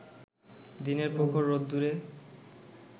দিনের প্রখর রোদ্দুরে